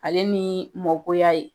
Ale ni mɔgoya ye.